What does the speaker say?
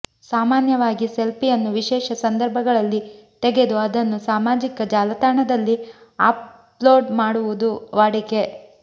ಸಾಮಾನ್ಯವಾಗಿ ಸೆಲ್ಫಿಯನ್ನು ವಿಶೇಷ ಸಂದರ್ಭಗಳಲ್ಲಿ ತೆಗೆದು ಅದನ್ನು ಸಾಮಾಜಿಕ ಜಾಲತಾಣದಲ್ಲಿ ಅಪ್ ಲೋಡ್ ಮಾಡುವುದು ವಾಡಿಕೆ